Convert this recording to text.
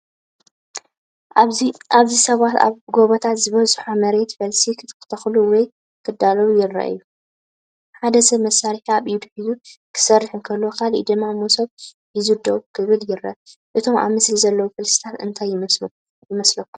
ኣብዚ ፡ ሰባት ኣብ ጎቦታት ዝበዝሖ መሬት ፈልሲ ክተኽሉ ወይ ከዳልዉ ይረኣዩ። ሓደ ሰብ መሳርሒ ኣብ ኢዱ ሒዙ ክሰርሕ እንከሎ፡ ካልእ ድማ መሶብ ሒዙ ደው ክብል ይረአ። እቶም ኣብ ስእሊ ዘለዉ ፈልሲታት እንታይ ይመስሉ ይመስለኩም?